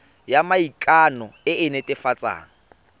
ya maikano e e netefatsang